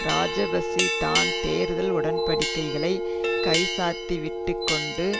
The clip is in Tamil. இராஜபக்ஷ தான் தேர்தல் உடன்படிக்கைகளைக் கைச்சாத்திவிட்டுக் கொண்ட